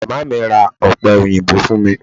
Màmá mi ra ọ̀pẹ òyìnbó fún mi.